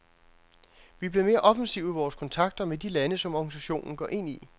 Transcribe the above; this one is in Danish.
Vi er blevet mere offensive i vores kontakter med de lande, som organisationen går ind i.